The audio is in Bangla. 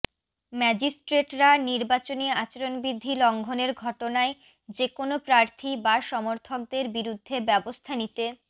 ম্যাজিস্ট্রেটরা নির্বাচনী আচরণবিধি লঙ্ঘনের ঘটনায় যেকোনো প্রার্থী বা সমর্থকদের বিরুদ্ধে ব্যবস্থা নিতে